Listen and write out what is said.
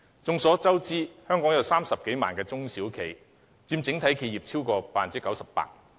眾所周知，香港有30多萬家中小型企業，佔整體企業超過 98%。